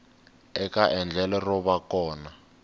eka endlelo ro va kona